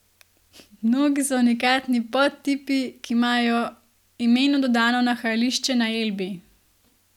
Mnogi so unikatni podtipi, ki imajo imenu dodano nahajališče na Elbi.